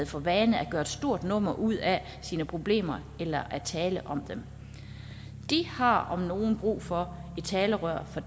for vane at gøre et stort nummer ud af sine problemer eller at tale om dem de har om nogen brug for et talerør for